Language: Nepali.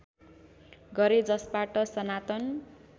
गरे जसबाट सनातन